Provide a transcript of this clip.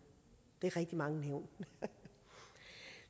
det er rigtig mange nævn